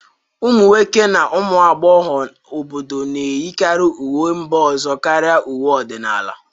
Ụmụ nwoke na ụmụ agbọghọ obodo na-eyikarị uwe mba ọzọ karịa uwe ọdịnala